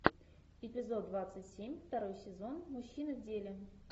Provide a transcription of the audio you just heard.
эпизод двадцать семь второй сезон мужчины в деле